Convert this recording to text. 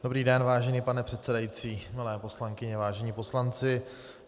Dobrý den, vážený pane předsedající, milé poslankyně, vážení poslanci.